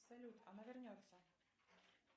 салют она вернется